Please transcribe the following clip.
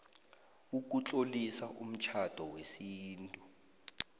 ukutlolisa umtjhado wesintu